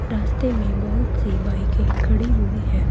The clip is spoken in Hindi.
रास्ते में बहुत सी बाईकें खड़ी हुई है।